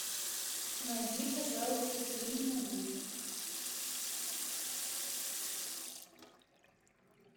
найди пожалуйста фильм на вечер